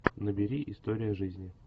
набери история жизни